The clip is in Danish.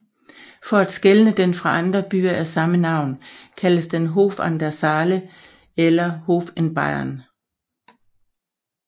For at skelne den fra andre byer af samme navn kaldes den Hof an der Saale eller Hof in Bayern